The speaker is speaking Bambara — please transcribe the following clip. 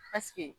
Paseke